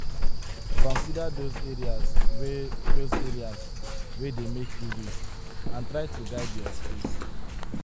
Consider those areas wey those areas wey dey make you weak and try to guide your space